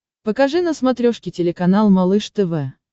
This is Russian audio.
покажи на смотрешке телеканал малыш тв